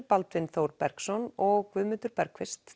Baldvin Þór Bergsson og Guðmundur